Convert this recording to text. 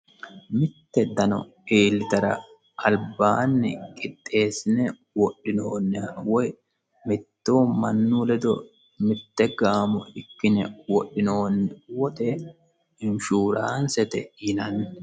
Mitte dano iilitara alibbani qixxesine wodhinoniha woyi mittu mannu ledo mitte gaamo ikkine wodhinanni woxe inshurannisete yinanni